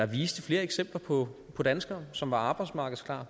vist flere eksempler på danskere som var arbejdsmarkedsklar